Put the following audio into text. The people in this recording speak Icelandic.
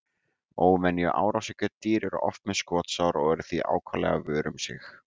Óvenju árásargjörn dýr eru oft með skotsár og eru því ákaflega vör um sig.